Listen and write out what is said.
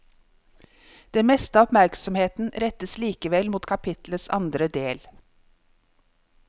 Det meste av oppmerksomheten rettes likevel mot kapitlets andre del.